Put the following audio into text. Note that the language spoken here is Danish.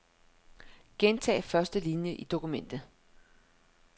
Gentag første linie i dokumentet.